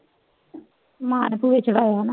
ਮਾਂ ਨੇ ਚੜਾਇਆ ਨਾ